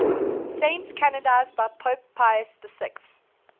saints canonized by pope pius xi